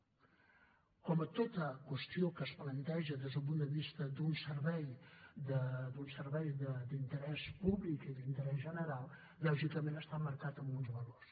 com a tota qüestió que es planteja des d’un punt de vista d’un servei d’interès públic i d’interès general lògicament està marcat amb uns valors